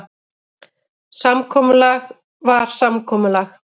Samkomulag var samkomulag.